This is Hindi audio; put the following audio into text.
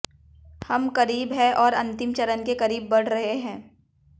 हम करीब है और अंतिम चरण के करीब बढ़ रहे हैं